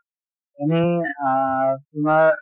এনেই আ তোমাৰ